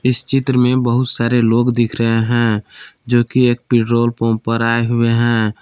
इस चित्र में बहुत सारे लोग दिख रहे हैं जो कि एक पेट्रोल पंप पर आए हुवे हैं।